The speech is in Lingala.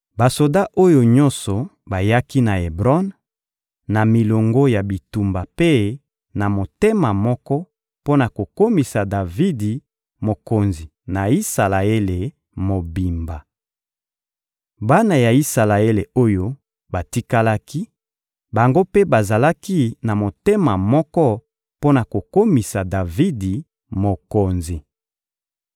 Basoda oyo nyonso bayaki na Ebron, na milongo ya bitumba mpe na motema moko mpo na kokomisa Davidi mokonzi na Isalaele mobimba. Bana ya Isalaele oyo batikalaki, bango mpe bazalaki na motema moko mpo na kokomisa Davidi mokonzi.